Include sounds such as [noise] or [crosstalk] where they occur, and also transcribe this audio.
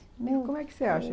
[unintelligible] e como é que você acha?